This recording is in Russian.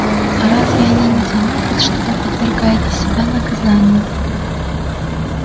а разве они не заметят что вы подвергаете себя наказанию